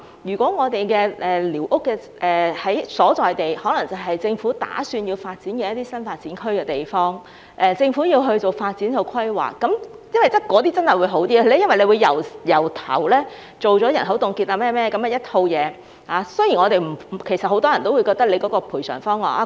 如果寮屋的所在地，是政府打算發展的新發展區，而政府要進行發展規劃，這些地方會比較好，因為當局會進行人口凍結或甚麼等一套工作，雖然很多人也認為有關賠償方案......